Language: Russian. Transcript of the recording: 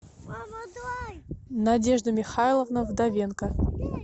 надежда михайловна вдовенко